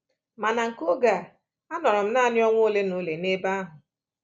Ma na nke oge a, anọrọ m nanị ọnwa ole na ole n’ebe ahụ.